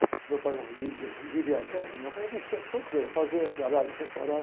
Meu pai não liga, vivia viajando? Porque meu pai mexia em um monte de coisa, fazia galerinha, parava.